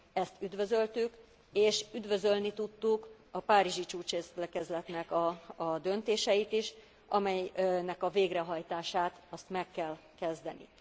Ezt üdvözöltük és üdvözölni tudtuk a párizsi csúcsértekezletnek a döntéseit is, amelynek a végrehajtását meg kell kezdeni.